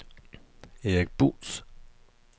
Erik Buus